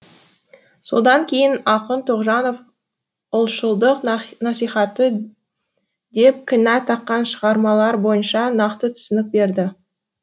содан кейін ақын тоғжанов ұлтшылдық насихаты деп кінә таққан шығармалар бойынша нақты түсінік берді